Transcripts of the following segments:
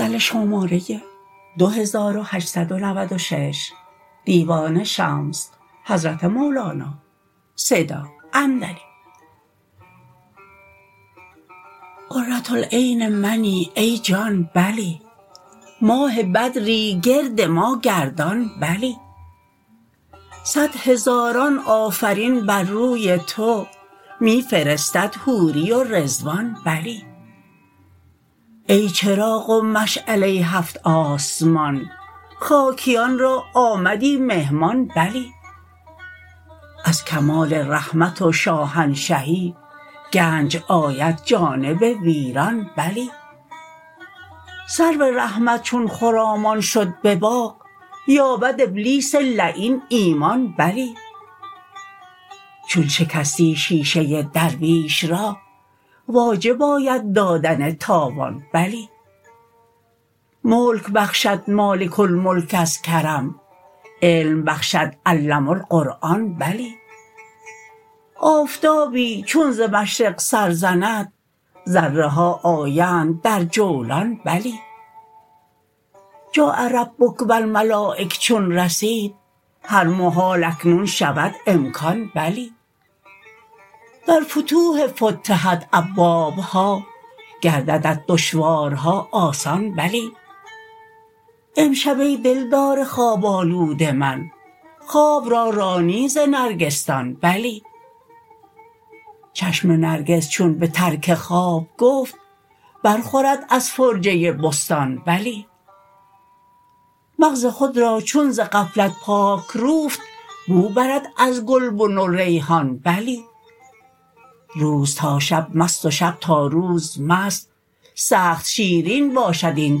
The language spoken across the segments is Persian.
قره العین منی ای جان بلی ماه بدری گرد ما گردان بلی صد هزاران آفرین بر روی تو می فرستد حوری و رضوان بلی ای چراغ و مشعله هفت آسمان خاکیان را آمدی مهمان بلی از کمال رحمت و شاهنشهی گنج آید جانب ویران بلی سرو رحمت چون خرامان شد به باغ یابد ابلیس لعین ایمان بلی چون شکستی شیشه درویش را واجب آید دادن تاوان بلی ملک بخشد مالک الملک از کرم علم بخشد علم القرآن بلی آفتابی چون ز مشرق سر زند ذره ها آیند در جولان بلی جاء ربک و الملایک چون رسید هر محال اکنون شود امکان بلی در فتوح فتحت ابوابها گرددت دشوارها آسان بلی امشب ای دلدار خواب آلود من خواب را رانی ز نرگسدان بلی چشم نرگس چون به ترک خواب گفت بر خورد از فرجه بستان بلی مغز خود را چون ز غفلت پاک روفت بو برد از گلبن و ریحان بلی روز تا شب مست و شب تا روز مست سخت شیرین باشد این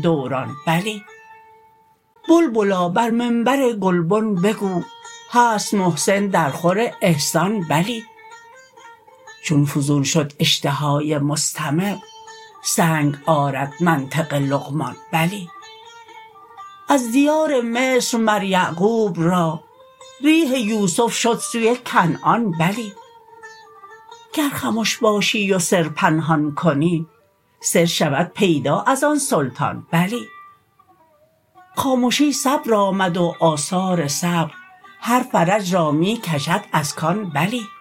دوران بلی بلبلا بر منبر گلبن بگو هست محسن درخور احسان بلی چون فزون شد اشتهای مستمع سنگ آرد منطق لقمان بلی از دیار مصر مر یعقوب را ریح یوسف شد سوی کنعان بلی گر خمش باشی و سر پنهان کنی سر شود پیدا از آن سلطان بلی خامشی صبر آمد و آثار صبر هر فرج را می کشد از کان بلی